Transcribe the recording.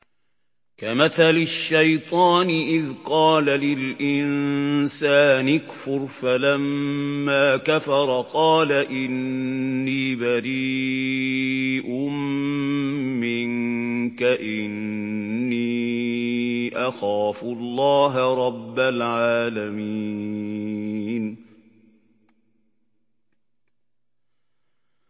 كَمَثَلِ الشَّيْطَانِ إِذْ قَالَ لِلْإِنسَانِ اكْفُرْ فَلَمَّا كَفَرَ قَالَ إِنِّي بَرِيءٌ مِّنكَ إِنِّي أَخَافُ اللَّهَ رَبَّ الْعَالَمِينَ